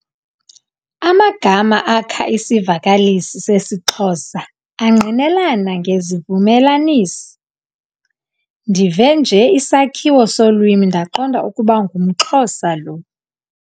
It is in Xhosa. Amagama akha isivakalisi sesiXhosa angqinelana ngezivumelanisi. ndive nje isakhiwo solwimi ndaqonda ukuba ngumXhosa lo